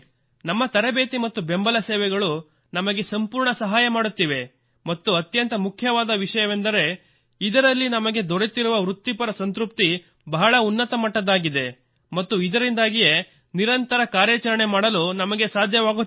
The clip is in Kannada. ನಮ್ಮ ತರಬೇತಿ ಮತ್ತು ಬೆಂಬಲ ಸೇವೆಗಳು ನಮಗೆ ಸಂಪೂರ್ಣ ಸಹಾಯ ಮಾಡುತ್ತಿವೆ ಮತ್ತು ಅತ್ಯಂತ ಮುಖ್ಯವಾದ ವಿಷಯವೆಂದರೆ ಇದರಲ್ಲಿ ನಮಗೆ ದೊರೆತಿರುವ ವೃತ್ತಿಪರ ಸಂತೃಪ್ತಿ ಬಹಳ ಉನ್ನತ ಮಟ್ಟದ್ದಾಗಿದೆ ಮತ್ತು ಇದರಿಂದಾಗಿಯೇ ನಿರಂತರ ಕಾರ್ಯಾಚರಣೆ ಮಾಡಲು ನಮಗೆ ಸಾಧ್ಯವಾಗುತ್ತಿದೆ